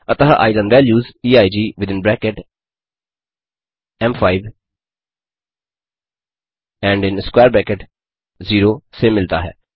अतः eigen values EIG within bracket एम5 and in square bracket 0 से मिलता है